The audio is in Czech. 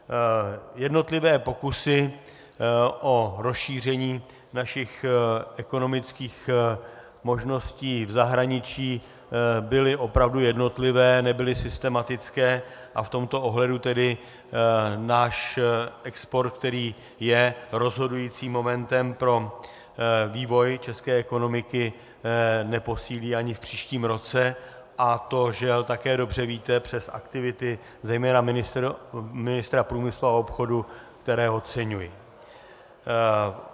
Jednotlivé pokusy o rozšíření našich ekonomických možností v zahraničí byly opravdu jednotlivé, nebyly systematické, a v tomto ohledu tedy náš export, který je rozhodujícím momentem pro vývoj české ekonomiky, neposílí ani v příštím roce, a to, žel, také dobře víte, přes aktivity zejména ministra průmyslu a obchodu, které oceňuji.